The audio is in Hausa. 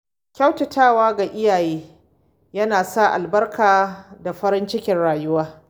Kyautatawa ga iyaye yana sa albarka da farin ciki a rayuwa.